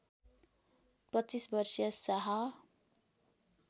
२५ वर्षीया साह